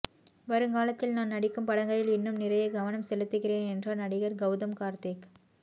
வருங்காலத்தில் நான் நடிக்கும் படங்களில் இன்னும் நிறைய கவனம் செலுத்துகிறேன் என்றார் நடிகர் கௌதம் கார்த்திக்